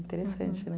Interessante, né?